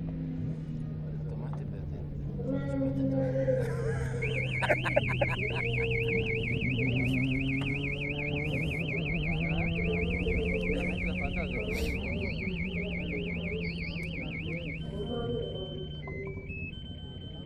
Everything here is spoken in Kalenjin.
Ki ne agere che mile bik en yu, mi piik che chang' ago ole menye mamiten suswek; ago magere korik che menye.